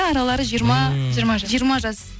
аралары жиырма жиырма жас